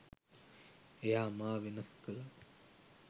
එයා මා වෙනස් කළා.